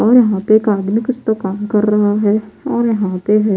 और यहाँ पे कागल कुछ तो काम कर रहा है और यहाँ पे है --